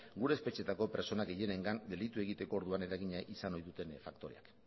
gure espetxetako pertsona gehienengan delitu egiteko orduan eragina izan ohi duten faktoreak